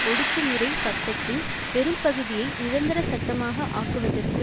ஒடுக்குமுறை சட்டத்தின் பெரும் பகுதியை நிரந்தர சட்டமாக ஆக்குவதற்கு